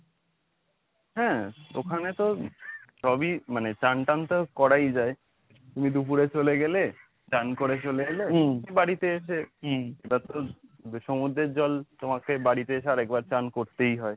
হ্যাঁ ওখানে তো সবই মানে চান টান তো করাই যায় তুমি দুপুরে চলে গেলে স্নান করে চলে এলে বাড়িতে এসে এটা তো সমুদ্রের জল তোমাকে বাড়িতে এসে আর একবার স্নান করতেই হয়।